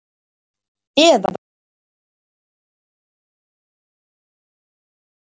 Eða hafði gleymt því í amstri daganna.